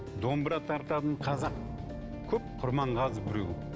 домбыра тартатын қазақ көп құрманғазы біреу